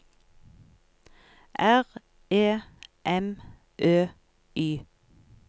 R E M Ø Y